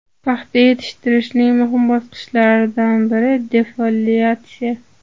Paxta yetishtirishning muhim bosqichlaridan biri defoliatsiya.